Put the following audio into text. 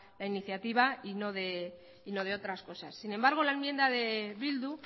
la iniciativa y no de otras cosas sin embargo la enmienda de bildu